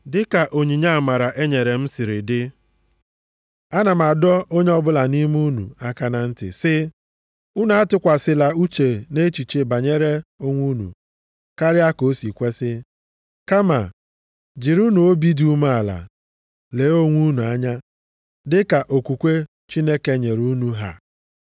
Dịka onyinye amara e nyere m siri dị, ana m adọ onye ọbụla nʼime unu aka na ntị sị, Unu atụkwasịla uche nʼechiche banyere onwe unu karịa ka o si kwesi. Kama, jirinụ obi dị umeala lee onwe unu anya dịka okwukwe Chineke nyere unu ha.